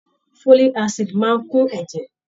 Folik asidi máa n kún ẹ̀jẹ̀.